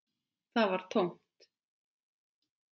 Það var tómt.